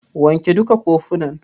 Wanke duka kofunan.